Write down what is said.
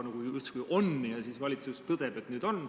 See justkui on ja siis valitsus tõdeb, et nüüd on.